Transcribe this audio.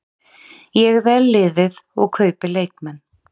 Ég vel liðið og kaupi leikmenn.